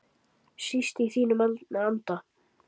Síst í þínum anda.